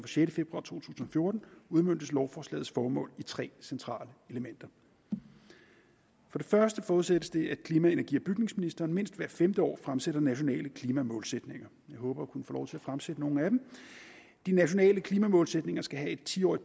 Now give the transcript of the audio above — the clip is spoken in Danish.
sjette februar to tusind og fjorten udmøntes lovforslagets formål i tre centrale elementer for det første forudsættes det at klima energi og bygningsministeren mindst hvert femte år fremsætter nationale klimamålsætninger jeg håber at kunne få lov til at fremsætte nogle af dem de nationale klimamålsætninger skal have et ti årig